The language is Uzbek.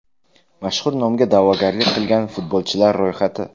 Mazkur nomga da’vogarlik qilgan futbolchilar ro‘yxati: !